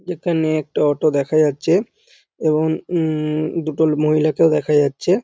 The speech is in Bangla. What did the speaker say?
এখানে একটা অটো দেখা যাচ্ছে এবং উম দুটো মহিলাকেও দেখা যাচ্ছে ।